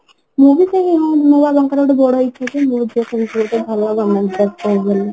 ମୁଁ ବି ସେଇ ହଁ ମୋ ବାବାଙ୍କର ଗୋଟେ ବଡ ଇଛା ଯେ ମୋ ଝିଅ ସେମିତି ଗୋଟେ ଭଲ ଭଲ job ପାଉ ବୋଲି